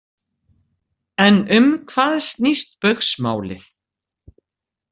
En um hvað snýst Baugsmálið?